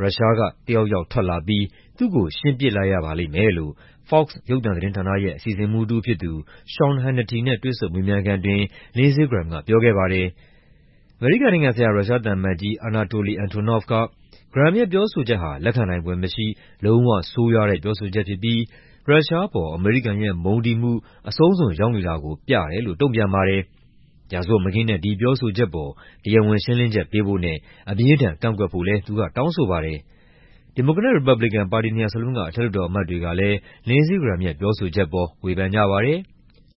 ရုရှားကတယောက်ယောက် ထွက်လာပြီး သူ့ကို ရှင်းပစ်လိုက်ရပါလိမ့်မယ်" လို့ Fox ရုပ်သံသတင်းဌာနရဲ့ အစီအစဉ်မှူးတဦးဖြစ်သူ Sean Hannity နဲ့ တွေ့ဆုံမေးမြန်းခန်းအတွင်း Lindsey Graham က ပြောခဲ့ပါတယ်။ အမေရိကန်နိုင်ငံဆိုင်ရာ ရုရှားသံအမတ်ကြီး Anatoly Antonov က Graham ရဲ့ ပြောဆိုချက်ဟာ လက်ခံနိုင်ဖွယ်မရှိ လုံးဝဆိုးရွားတဲ့ ပြောဆိုချက်ဖြစ်ပြီး ရုရှားအပေါ် အမေရိကန်ရဲ့ မုန်းတီးမှု အဆုံးစွန်ရောက်နေတာကို ပြတယ်လို့ တုံ့ပြန်ပါတယ်။ ရာဇဝတ်မကင်းတဲ့ ဒီပြောဆိုချက်အပေါ် တရားဝင်ရှင်းလင်းချက် ပေးဖို့နဲ့ အပြင်းအထန် ကန့်ကွက်ဖို့လည်း သူက တောင်းဆိုပါတယ်။ ဒီမိုကရက်နဲ့ ရီပတ်ဘလီကန် ပါတီနှစ်ရပ်စလုံးက အထက်လွှတ်တော်အမတ်တွေကလည်း Lindsey Graham ရဲ့ ပြောဆိုချက်အပေါ် ဝေဖန်ကြပါတယ်။